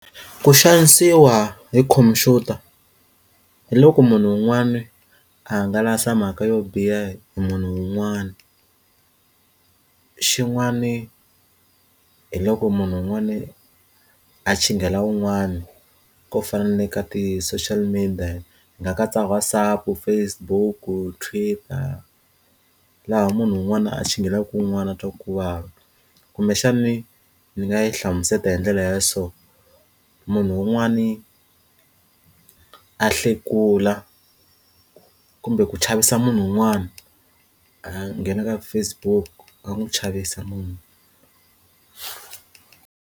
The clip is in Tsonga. Ku xanisiwa hi computer hi loko munhu un'wana a hangalasa mhaka yo biha hi munhu un'wana xin'wani hi loko munhu un'wana a chingela wun'wana ko fane ka ti social media nga katsa WhatsApp, Facebook, Twitter laha munhu un'wana a tshingelaka un'wana a twa ku vava kumbexani ni nga yi hlamusela hi ndlela ya so munhu un'wani a hlekula kumbe ku chavisa munhu un'wana a nghena ka Facebook a n'wi chavisa.